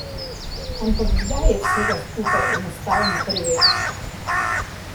Ampak kdaj je vsega skupaj enostavno preveč?